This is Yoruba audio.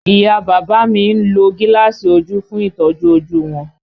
Ìyá a bàbá mi ń lo gíláàsì ojú fún ìtọ́jú ojú wọn